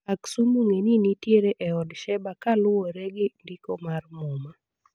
Aksum ong'e ni nitiere e od Sheba kuluwore gi ndiko mar muma